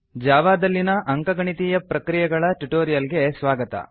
ಜಾವಾದಲ್ಲಿನ ಅಂಕಗಣಿತೀಯ ಪ್ರಕ್ರಿಯೆ ಗಳ ಟ್ಯುಟೋರಿಯಲ್ ಗೆ ಸ್ವಾಗತ